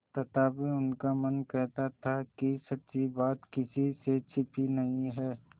तथापि उनका मन कहता था कि सच्ची बात किसी से छिपी नहीं है